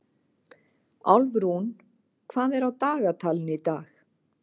Álfrún, hvað er á dagatalinu í dag?